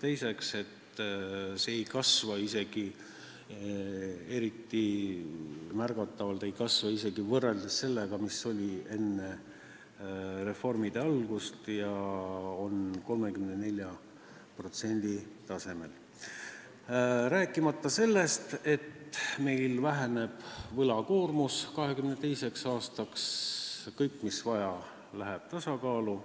teiseks ei kasva see tase märgatavalt isegi võrreldes sellega, mis ta oli enne reformide algust, ja on 34% tasemel, rääkimata sellest, et meie võlakoormus 2022. aastaks väheneb ning kõik, mis vaja, läheb tasakaalu.